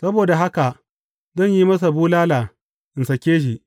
Saboda haka, zan yi masa bulala, in sāke shi.